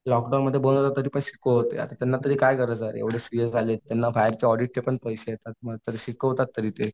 लॉकडाऊनमध्ये बोलावलं तरीपण शिकवत होते. आता त्यांना काय गरज आहे रे एवढे सीए झालेत त्यांना बाहेरचे ऑडीटचे पण पैसे येतात. मग तर शिकवतात तरी ते.